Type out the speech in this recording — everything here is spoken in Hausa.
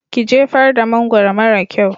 Ki jefar da mangwaro mara kyau!